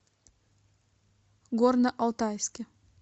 горно алтайске